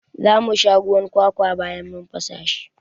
Za mu sha ruwan kwakwa bayan mun fasa shi.